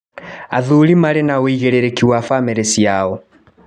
Athuri marĩ na wũigĩrĩrĩki wa bamĩrĩ ciao